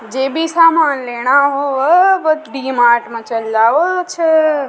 जे भी सामान लेना हो छह वो डी मार्ट माँ चले जाओ छ।